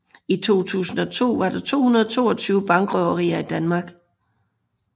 I 2002 var der 222 bankrøverier i Danmark